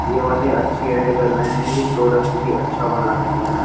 ये वाले अच्छी ऐड कर रहे हैं ये प्रोडक्ट भी अच्छा बना रहे हैं।